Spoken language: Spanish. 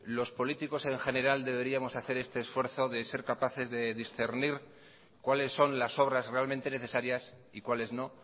los políticos en general deberíamos hacer este esfuerzo de ser capaces de discernir cuáles son las obras realmente necesarias y cuáles no